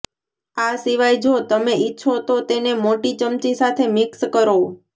આ સિવાય જો તમે ઈચ્છો તો તેને મોટી ચમચી સાથે મિક્સ કરો